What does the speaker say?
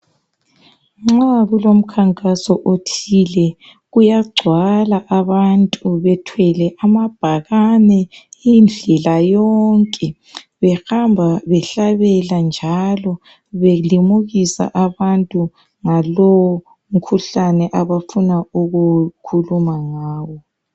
Nxa kulomkhankaso othile, kuyagcwala abantu bethwele amabhakane indlela yonke. Behamba behlabela njalo belimukisa abantu ngalowo mkhuhlane abafuna ukukhuluma ngawo.